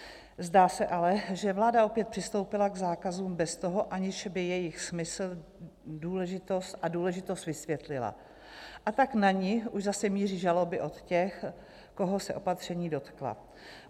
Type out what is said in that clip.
Zdá se ale, že vláda opět přistoupila k zákazům bez toho, aniž by jejich smysl a důležitost vysvětlila, a tak na ni už zase míří žaloby od těch, koho se opatření dotkla.